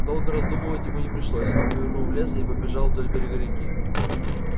долго раздумывать ему не пришлось он повернул в лес и побежал вдоль берега реки